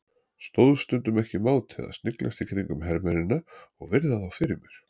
Stóðst stundum ekki mátið að sniglast í kringum hermennina og virða þá fyrir mér.